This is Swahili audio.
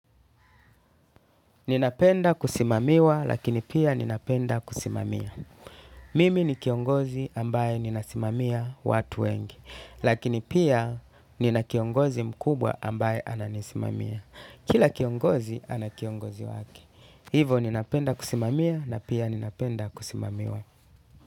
Ninapenda kusimamiwa lakini pia ninapenda kusimamia. Mimi ni kiongozi ambaye ninasimamia watu wengi lakini pia nina kiongozi mkubwa ambaye ananisimamia. Kila kiongozi ana kiongozi wake. Hivo ninapenda kusimamia na pia ninapenda kusimamiwa.